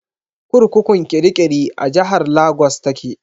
Kurkukun kirikiri a jihar Lagos ta ke.